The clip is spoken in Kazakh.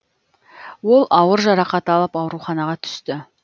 ол ауыр жарақат алып ауруханаға түсті